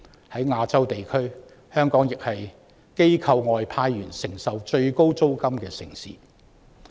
在亞洲地區，香港亦是機構外派員工承受最高租金的城市。